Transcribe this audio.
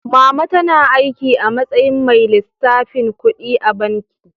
Mama tana aiki a matsayin mai lissafin kuɗi a banki.